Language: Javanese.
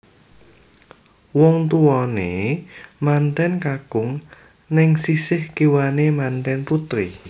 Wong tuwane manten kakung neng sisih kiwane manten putri